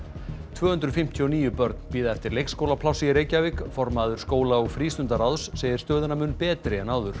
tvö hundruð fimmtíu og níu börn bíða eftir leikskólaplássi í Reykjavík formaður skóla og segir stöðuna mun betri en áður